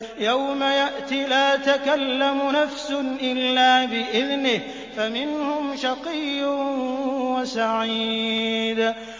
يَوْمَ يَأْتِ لَا تَكَلَّمُ نَفْسٌ إِلَّا بِإِذْنِهِ ۚ فَمِنْهُمْ شَقِيٌّ وَسَعِيدٌ